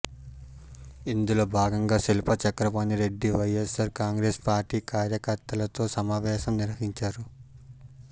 ఇందులో భాగంగా శిల్పా చక్రపాణి రెడ్డి వైఎస్సార్ కాంగ్రెస్ పార్టీ కార్యకర్తలతో సమావేశం నిర్వహించాడు